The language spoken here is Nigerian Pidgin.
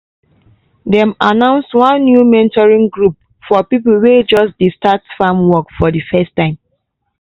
dem announce one new mentoring group for people wey just dey start farm work for di first time.